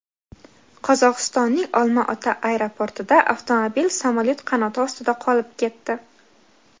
Qozog‘istonning Olma-ota aeroportida avtomobil samolyot qanoti ostida qolib ketdi.